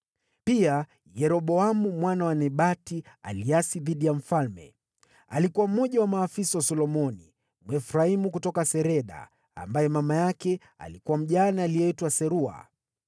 Pia, Yeroboamu mwana wa Nebati aliasi dhidi ya mfalme. Alikuwa mmoja wa maafisa wa Solomoni, Mwefraimu kutoka Sereda, ambaye mama yake alikuwa mjane aliyeitwa Serua.